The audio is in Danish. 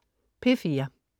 P4: